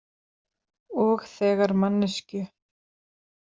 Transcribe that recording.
Og þegar manneskju.